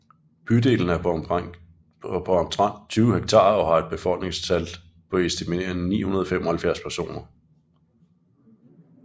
Bydelen er på omtrent 20 hektar og har et befolkningstal på estimerede 975 personer